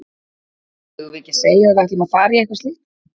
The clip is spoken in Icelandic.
Eigum við ekki að segja að við ætlum að fara í eitthvað slíkt?